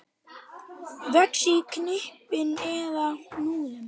Vex í knippum eða hnúðum.